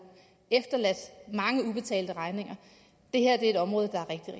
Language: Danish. efterladt mange ubetalte regninger det her er et område